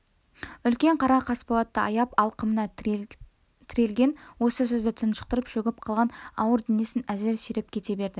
үлкен қара қасболатты аяп алқымына тірелген осы сөзді тұншықтырып шөгіп қалған ауыр денесін әзер сүйреп кете берді